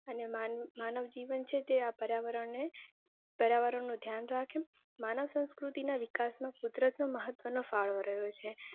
અને માનવ જીવન છે તે આ પર્યાવરણ ને પર્યાવરણ નું ધ્યાન રાખે. માનવ સાંસ્કુતિ ના વિકાસ માં કુદરત નો મહત્વ ફાળો રહ્યો છે.